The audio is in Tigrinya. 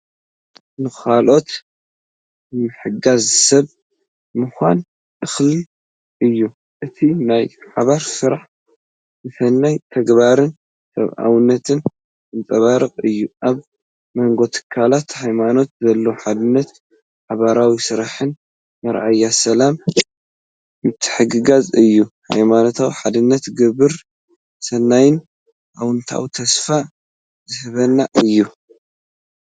"ንኻልኦት ንምሕጋዝ ሰብ ምዃን እኹል እዩ!" እቲ ናይ ሓባር ስራሕ ንሰናይ ተግባርን ሰብኣውነትን ዘንጸባርቕ እዩ። ኣብ መንጎ ትካላት ሃይማኖት ዘሎ ሓድነትን ሓባራዊ ስራሕን መርኣያ ሰላምን ምትሕግጋዝን እዩ። ሃይማኖታዊ ሓድነትን ግብረ ሰናይን ኣወንታዊን ተስፋ ዝህብን እዩ!